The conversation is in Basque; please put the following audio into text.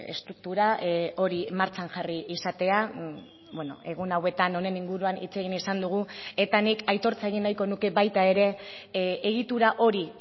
estruktura hori martxan jarri izatea egun hauetan honen inguruan hitz egin izan dugu eta nik aitortza egin nahiko nuke baita ere egitura hori